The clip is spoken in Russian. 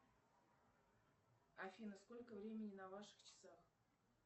афина сколько времени на ваших часах